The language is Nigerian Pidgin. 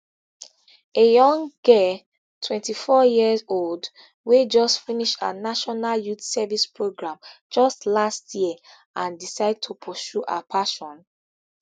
a young girl twenty-four years old wey just finish her national youth service programme just last year and decide to pursue her passion